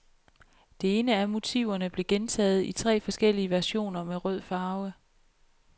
Det ene af motiverne blev gentaget i tre forskellige versioner med rød farve.